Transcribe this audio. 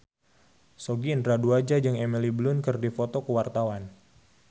Sogi Indra Duaja jeung Emily Blunt keur dipoto ku wartawan